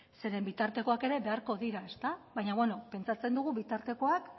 zeren bitartekoak ere beharko dira ezta baina bueno pentsatzen dugu bitartekoak